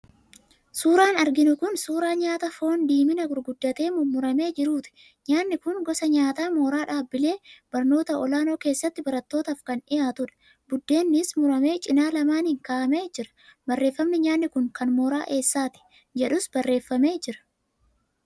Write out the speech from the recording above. Suuraan arginu kun suuraa nyaata foon diiminaa gurguddatee mummuramee jiruuti Nyaanni Kun gosa nyaataa mooraa dhaabbilee barnootaa olaanoo keessatti barattootaaf kan dhiyaatudha. Buddeennis muramee cinaa lamaaniin kaa'amee jira, barreeffamni nyaanni kun kan mooraa eessaati? jedhus barreeffamee jira.